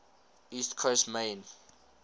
east coast maine